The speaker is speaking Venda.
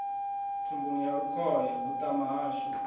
thumbuni ya lukhohe vhuṱama hashu